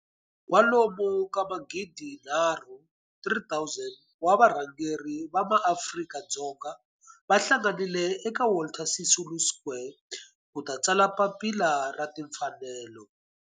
Kwalomu ka magidi nharhu, 3 000, wa varhangeri va maAfrika-Dzonga va hlanganile eka Walter Sisulu Square ku ta tsala Papila ra Timfanelo.